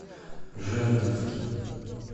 жердевки